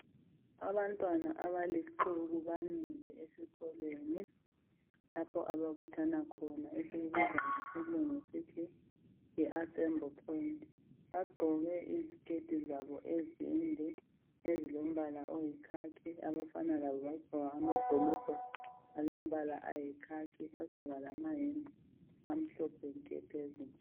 Abantwana abalixuku bamile esikolweni lapho ababuthana khona esikubiza ngesilingu sithi yi assembly point Bagqoke iziketi zabo ezinde ezilombala oyikhakhi abafana labo bagqoka amabhulugwe alombala ayikhakhi bagqoka lamayembe amhlophe nke phezulu